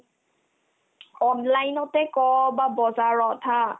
online তে ক' বা বজাৰত haa